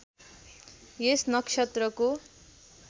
यस नक्षत्रको